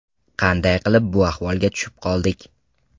Qanday qilib bu ahvolga tushib qoldik?